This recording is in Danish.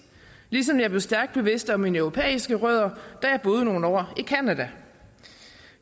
ligesom jeg blev stærkt bevidst om mine europæiske rødder da jeg boede nogle år i canada